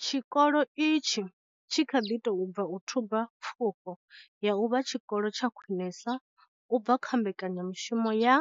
Tshikolo itshi tshi kha ḓi tou bva u thuba pfufho ya u vha tshikolo tsha khwinesa u bva kha mbekanyamushumo ya